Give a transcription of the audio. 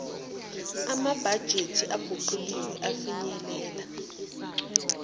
amabhajethi aguquliwe afinyelela